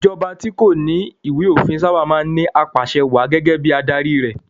Ìjọba tí kò bá ní ìwé-òfin sábà máa ń ní apàsẹwàá gẹ́gẹ́ bí adarí rẹ̀.